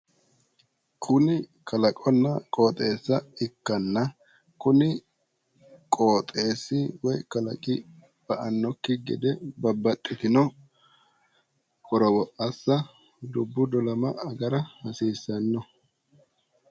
kuni Kalaqonna qooxeessa ikkanna kuni qooxeessi ba''annokki gede babaxitino qorowo assa woyi dubbu dolamannokki gede assa hasiissanno.